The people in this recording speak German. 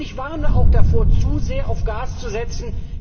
Ich warne auch davor, zu sehr auf Gas zu setzen.